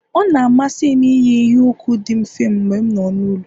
Ọ na-amasị m iyi- iheukwu di mfe mgbe m nọ n'ụlọ